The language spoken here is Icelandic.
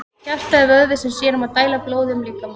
Hjartað er vöðvi sem sér um að dæla blóði um líkamann.